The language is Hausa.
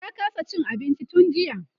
ta kasa Cin abinci tun jiya